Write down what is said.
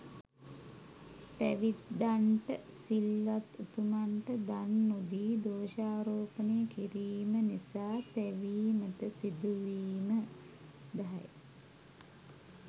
පැවිද්දන්ට, සිල්වත් උතුමන්ට දන් නොදී දෝෂාරෝපණය කිරීම නිසා තැවීමට සිදුවීම 10.